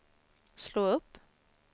slå upp